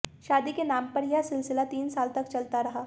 शादी के नाम पर यह सिलसिला तीन साल तक चलता रहा